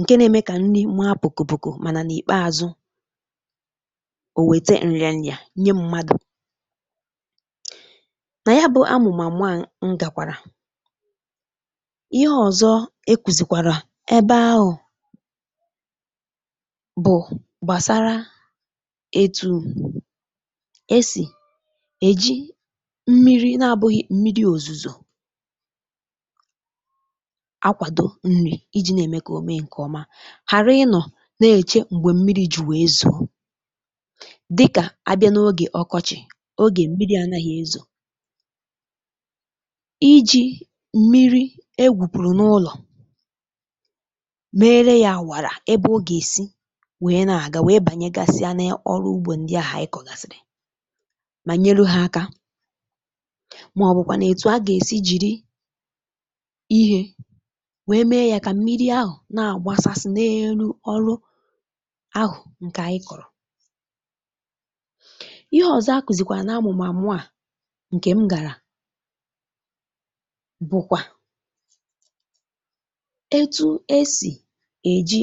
ǹke na-eme kà nni mee pùkù pùkù mànà n’ìkpeàzụ ò wète nrìanụ yà nye mmadụ̀ nà ya bụ̇ amụ̀màmụ a ngàkwàrà ebe ahụ̇ bụ̀ gbàsara um etu̇ esì èji mmiri na-abụ̇ghị̇ mmiri òzùzò akwàdo nri̇ iji̇ na-ème kà òme ǹkè ọma ghàra ịnọ̀ na-èche m̀gbè mmiri ju̇ wèe zu̇ dịkà abịa n’ogè ọkọchị̇ ogè mmiri̇ anȧghị̇ ezȯ mere yȧ àwàrà ebe o gà-èsi wee na-àga wee bànyègasị anee ọrụ ugbȯ ndị ahụ̀ ịkọ̀gàsìrì mà nyelu hȧ aka màọbụkwa nà-ètù a gà-èsi jìri ihė wee mee yȧ kà mmiri ahụ̀ na-àgbasasị n’elu ọrụ ahụ̀ ǹkè a ị kọ̀rọ̀ ihe ọ̀zọ a kùzìkwà nà-amụ̀mà mụ̀a ǹkè m gàrà bụkwa etu e sì èji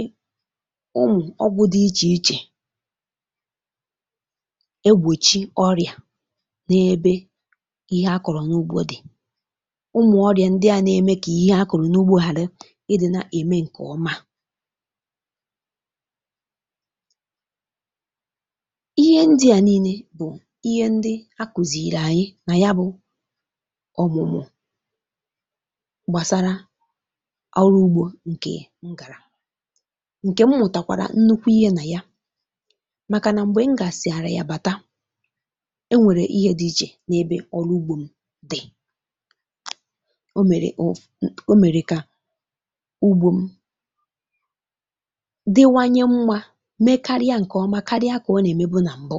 ụmụ̀ ọgwụ̇ dị ichè ichè egbòchi ọrịà n’ebe ihe akọ̀rọ̀ n’ugbȯ dị̀ ụmụ̀ ọrịà ndị à na-eme kà ihe akụ̀rụ̀ n’ugbȯ ghàra ị dị̇ na-ème ǹkè ọma ihe ndị à nii̇nė bụ̀ ihe ndị a kùzìrì ànyị nà ya bụ̇ ọ̀mụ̀mụ̀ ǹkè m gàrà ǹkè m mụ̀tàkwàrà nnukwu ihe nà ya màkà nà m̀gbè m gààsị̀ àrȧ ya bàta e nwèrè ihe dị̇ ijè n’ebe ọrụ ugbȯ m dị̇ o mèrè kà ugbȯ m diwanye um mmȧ mekarịa ǹkè ọma karịa kà ọ nà-ème bụ̇ nà m̀bụ